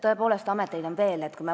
Tõepoolest, ameteid on veel.